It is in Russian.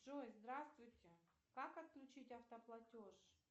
джой здравствуйте как отключить автоплатеж